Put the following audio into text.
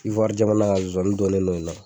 Ivoire jamana ka zoani dɔnnen n'o la